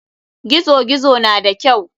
Gizo gizo na da kyau.